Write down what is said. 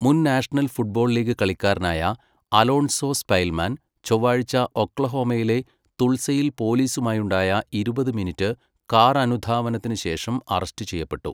മുൻ national football league കളിക്കാരനായ Alonzo സ്പെൽമാന് ചൊവ്വാഴ്ച ഒക്ലഹോമയിലെ തുൾസയിൽ പൊലീസുമായുണ്ടായ ഇരുപത് മിനിറ്റ് കാറനുധാവനത്തിനുശേഷം അറസ്റ്റ് ചെയ്യപ്പെട്ടു.